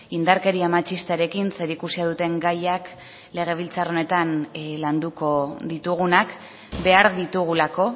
indarkeria matxistarekin zerikusia duten gaiak legebiltzar honetan landuko ditugunak behar ditugulako